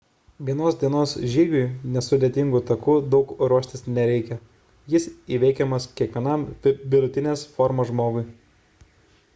vienos dienos žygiui nesudėtingu taku daug ruoštis nereikia – jis įveikiamas kiekvienam vidutinės fizinės formos žmogui